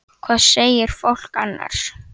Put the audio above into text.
Hvað segir fólk annars?